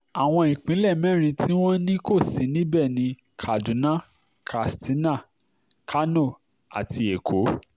àwọn ìpínlẹ̀ mẹ́rin tí wọ́n ní kò sí níbẹ̀ ní kaduna katsina kánò àti èkó